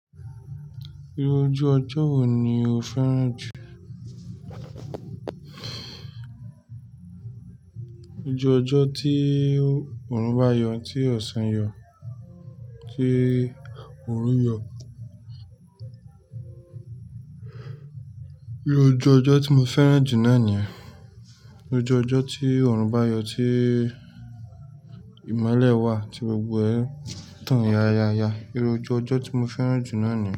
Irú ojú ọjọ́ wo ni o fẹ́ràn jù? Ojú ọjọ́ tí òòrùn bá yọ, tí ọ̀sán yọ, tí òrun yọ. Irú ojú ọjọ́ tí mo fẹ́ràn jù náà ni, ojú ọjọ́ tí òòrùn bá yọ, tí ìmọ́lẹ̀ wà tí gbogbo ẹ̀ tán ya ya ya. Irú ojú ọjọ́ tí mo fẹ́ràn jù náà ni.